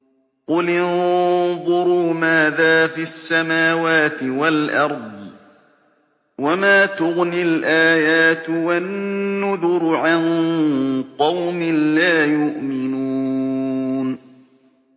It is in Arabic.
قُلِ انظُرُوا مَاذَا فِي السَّمَاوَاتِ وَالْأَرْضِ ۚ وَمَا تُغْنِي الْآيَاتُ وَالنُّذُرُ عَن قَوْمٍ لَّا يُؤْمِنُونَ